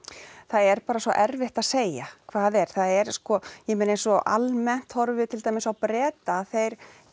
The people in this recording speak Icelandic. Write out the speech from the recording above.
er bara svo erfitt að segja hvað er það eru sko ég meina eins og almennt horfum við til dæmis á Breta þeir